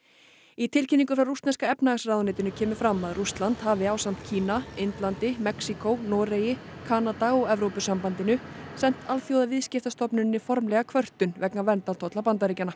í tilkynningu frá rússneska efnahagsráðuneytinu kemur fram að Rússland hafi ásamt Kína Indlandi Mexíkó Noregi Kanada og Evrópusambandinu sent Alþjóðaviðskiptastofnuninni formlega kvörtun vegna verndartolla Bandaríkjanna